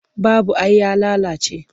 Babu ai ya lalace.